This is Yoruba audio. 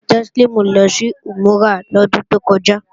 Teslimu lọ sí Umurah lọ́dún tó kọjá